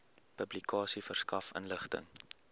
publikasie verskaf inligting